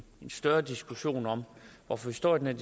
større diskussion om hvorfor vi står i den